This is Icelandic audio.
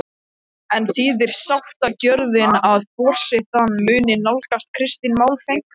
En þýðir sáttagjörðin að forystan muni nálgast Kristin málefnalega?